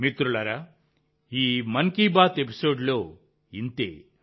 మిత్రులారా ఈ మన్ కీ బాత్ ఎపిసోడ్లో ఇంతే